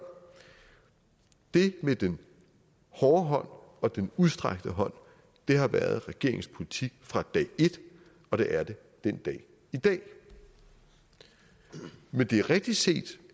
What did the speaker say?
det med den hårde hånd og den udstrakte hånd har været regeringens politik fra dag et og det er det den dag i dag men det er rigtigt set